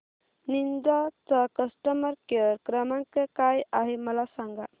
Ninja चा customer care क्रमांक काय आहे मला सांगा